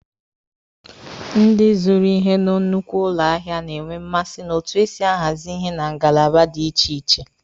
Ndị zụrụ ihe na nnukwu ụlọ ahịa na-enwe mmasị na otu esi ahazi ihe na ngalaba dị iche iche.